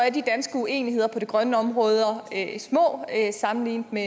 er de danske uenigheder på det grønne område små sammenlignet med